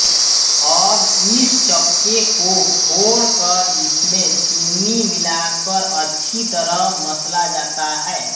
अब इस चक्के को फोड़ कर इसमे चीनी मिला कर अच्छी तरह मसला जाता है